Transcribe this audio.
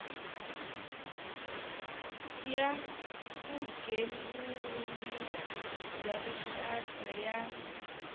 ya vugembuli bya rixaka ya